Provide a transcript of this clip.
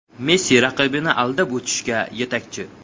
Messi raqibni aldab o‘tishda yetakchi.